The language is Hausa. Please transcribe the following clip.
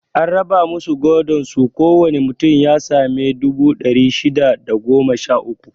An raba masu godon su ko wane mutum ya sami dubu ɗari shida da goma sha uku